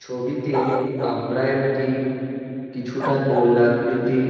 ছবিতে আমরা একটি কিছুটা গোল আকৃতির--